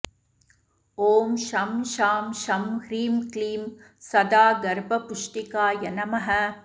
ॐ शं शां षं ह्रीं क्लीं सदा गर्भपुष्टिकाय नमः